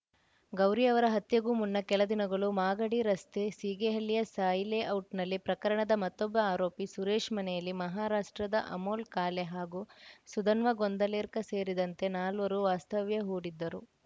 ಗೌರಿ ಅವರ ಹತ್ಯೆಗೂ ಮುನ್ನ ಕೆಲ ದಿನಗಳು ಮಾಗಡಿ ರಸ್ತೆ ಸೀಗೆಹಳ್ಳಿಯ ಸಾಯಿಲೇಔಟ್‌ನಲ್ಲಿ ಪ್ರಕರಣದ ಮತ್ತೊಬ್ಬ ಆರೋಪಿ ಸುರೇಶ್‌ ಮನೆಯಲ್ಲಿ ಮಹಾರಾಷ್ಟ್ರದ ಅಮೋಲ್‌ ಕಾಳೆ ಹಾಗೂ ಸುಧನ್ವ ಗೊಂದಲೇರ್ಕ ಸೇರಿದಂತೆ ನಾಲ್ವರು ವಾಸ್ತವ್ಯ ಹೂಡಿದ್ದರು